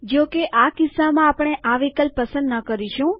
જો કે આ કિસ્સામાં આપણે આ વિકલ્પ પસંદ ન કરીશું